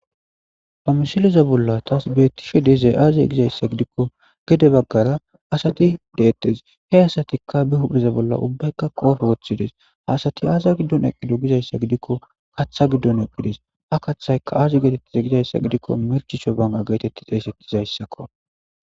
Ha misileza bolla taas betise dezey aaziye gizayssa gidikko gede baggara asati deettes. He asatikka bi hudhdheza bolla ubbaykka qoofe woththides. Ha asati aasa giddon eqido gizayssa gidikko katha giddon eqqides. Ha kaththaykka aazi geetettez gizayssa gidikko merchisho bana geetetti xeeseqizayssakko.